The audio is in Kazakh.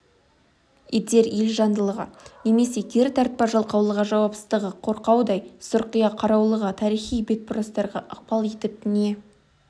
етер елжандылығы немесе кері тартпа жалқаулығы жауапсыздығы қорқаудай сұрқия қараулығы тарихи бетбұрыстарға ықпал етіп не